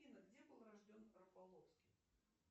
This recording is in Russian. афина где был рожден рафаловский